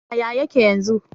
Yaya yake yanzu?